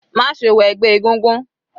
Má ṣe wọ ẹgbẹ́ egúngún.